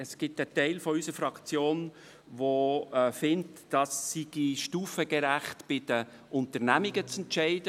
Ein Teil unserer Fraktion findet, dies sei stufengerecht in den Unternehmungen zu entscheiden.